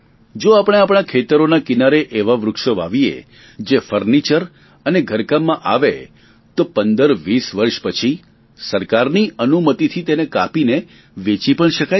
જો આપણે આપણા ખેતરોના કિનારે એવાં વૃક્ષો વાવીએ જે ફર્નીચર અને ઘરકામમાં આવે તો પંદરવીસ વર્ષ પછી સરકારની અનુમતિથી તેને કાપીને વેચી પણ શકાય છે